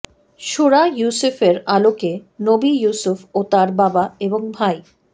সুরা ইউসুফের আলোকে নবী ইউসুফ ও তাঁর বাবা এবং ভাই